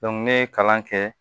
ne ye kalan kɛ